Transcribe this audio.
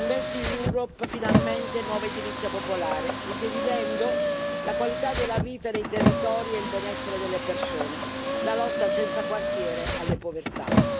InvestEU è finalmente nuova edilizia popolare, il dividendo, la qualità della vita dei territori e il benessere delle persone, la lotta senza quartiere alla povertà.